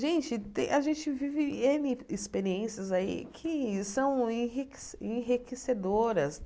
Gente, te a gente vive êne experiências aí que são enrique enriquecedoras.